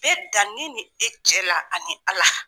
Me dan ne ni e cɛ la ani ala.